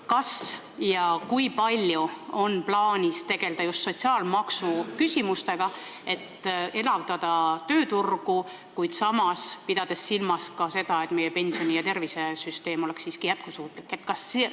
Kas ja kui palju on plaanis tegelda just sotsiaalmaksu küsimustega, et elavdada tööturgu, samas pidades silmas ka seda, et meie pensioni- ja tervisesüsteem oleks siiski jätkusuutlik?